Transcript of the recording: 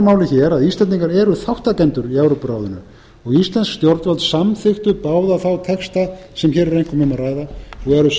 máli að íslendingar eru þátttakendur í evrópuráðinu og íslensk stjórnvöld samþykktu báða þá texta sem hér er einkum um að ræða og eru